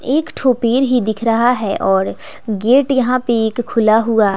एक ठो पेड़ ही दिख रहा है और गेट यहां पे एक खुला हुआ--